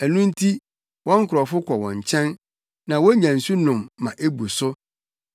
Ɛno nti wɔn nkurɔfo kɔ wɔn nkyɛn na wonya nsu nom ma ebu so.